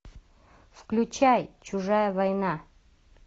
включай чужая война